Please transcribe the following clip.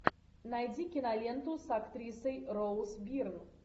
найди киноленту с актрисой роуз бирн